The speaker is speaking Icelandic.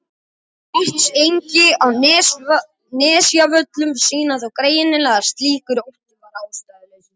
Svartsengi og á Nesjavöllum sýna þó greinilega að slíkur ótti var ástæðulaus.